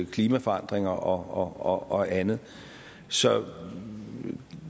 klimaforandringerne og andet så